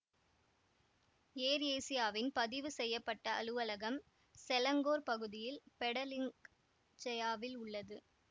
ஏர் ஏசியாவின் பதிவு செய்ய பட்ட அலுவலகம் செலங்கோர் பகுதியில் பெடலிங்க் ஜெயாவில் உள்ளது